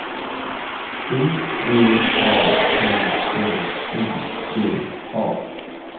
O V A N L I G A